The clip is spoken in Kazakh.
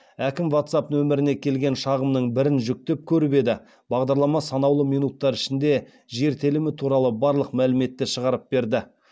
әкім ватсап нөміріне келген шағымның бірін жүктеп көріп еді бағдарлама санаулы минуттар ішінде жер телімі туралы барлық мәліметті шығарып берді